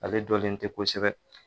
Ale dɔlen tɛ kosɛbɛ